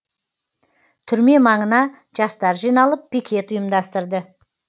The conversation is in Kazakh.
түрме маңына жастар жиналып пикет ұйымдастырды